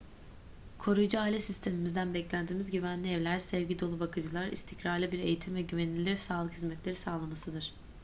koruyucu aile sistemimizden beklentimiz güvenli evler sevgi dolu bakıcılar istikrarlı bir eğitim ve güvenilir sağlık hizmetleri sağlamasıdır